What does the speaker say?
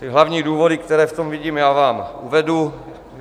Ty hlavní důvody, které v tom vidím já, vám uvedu.